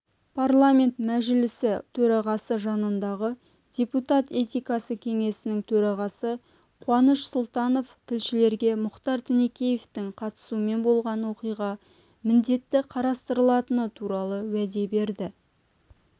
парламент мәжілісі төрағасы жанындағы депутат этикасы кеңесінің төрағасы қуаныш сұлтанов тілшілерге мұхтар тінікеевтің қатысуымен болған оқиға міндетті қарастырылатыны туралы уәде берді